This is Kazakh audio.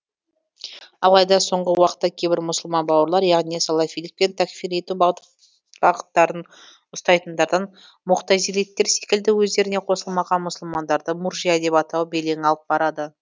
алайда соңғы уақытта кейбір мұсылман бауырлар яғни салафилік пен тәкфир ету бағыттарын ұстайтындардан муғтазилиттер секілді өздеріне қосылмаған мұсылмандарды муржия деп атау белең алып барады